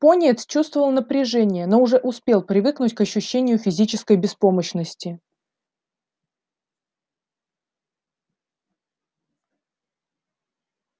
пониетс чувствовал напряжение но уже успел привыкнуть к ощущению физической беспомощности